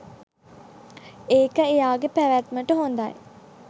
ඒක එයාගේ පැවැත්මට හොඳයි.